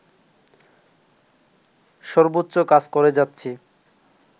সর্বোচ্চ কাজ করে যাচ্ছি